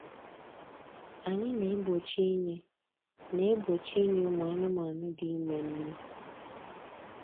Anyị na-egbochi inye na-egbochi inye ụmụ anụmanụ dị ime nnu